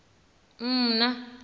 mna